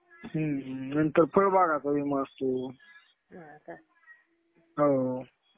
नंतर फळभागा टाइम असतो. हो.